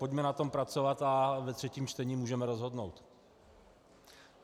Pojďme na tom pracovat a ve třetím čtení můžeme rozhodnout.